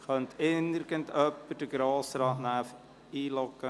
Könne irgendjemand das für ihn erledigen, bitte?